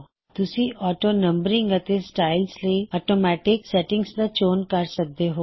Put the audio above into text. ਤੁਸੀ ਔਟੋਨੰਬਰਿੰਗ ਅਤੇ ਸਟਾਇਲਜ਼ ਲਈ ਔਟੋਮੈੱਟਿਕ ਸੈਟਿੰਗਜ਼ ਦਾ ਚੋਣ ਕਰ ਸਕਦੇ ਹੋਂ